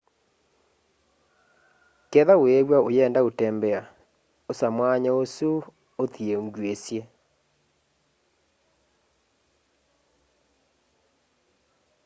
kethwa wiiw'a uyenda utembea osa mwanya usu uthie ngyuisi